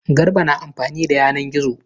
Garba na amfani da yanan gizo.